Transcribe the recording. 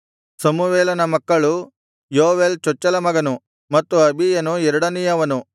ಸಮುವೇಲನ ಮಕ್ಕಳು ಯೋವೇಲ್ ಚೊಚ್ಚಲ ಮಗನು ಮತ್ತು ಅಬೀಯನು ಎರಡನೆಯವನು